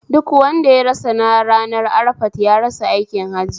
Duk wanda ya rasa ranar arafat ya rasa aikin hajji